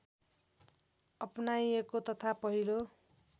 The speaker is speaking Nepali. अपनाइएको तथा पहिलो